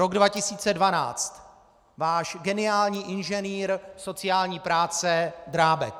Rok 2012 - váš geniální inženýr sociální práce Drábek.